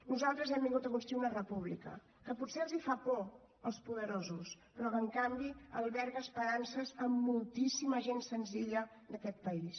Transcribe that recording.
nosaltres hem vingut a construir una república que potser els fa por als poderosos però que en canvi alberga esperances de moltíssima gent senzilla d’aquest país